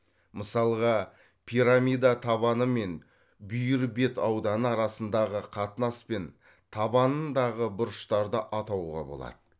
мысалға пирамида табаны мен бүйір бет ауданы арасындағы қатынас пен табанындағы бұрыштарды атауға болады